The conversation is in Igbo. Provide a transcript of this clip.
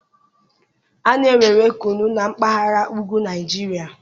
a na-ewere kunu na mpaghara ugwu Naijiria